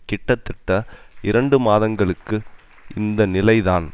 கிட்டத்தட்ட இரண்டு மாதங்களுக்கு இந்த நிலை தான்